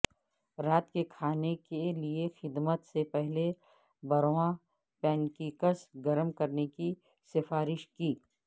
رات کے کھانے کے لئے خدمت سے پہلے برواں پینکیکس گرم کرنے کی سفارش کی